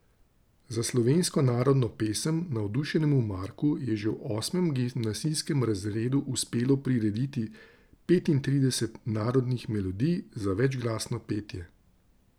Za slovensko narodno pesem navdušenemu Marku je že v osmem gimnazijskem razredu uspelo prirediti petintrideset narodnih melodij za večglasno petje.